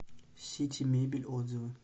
сити мебель отзывы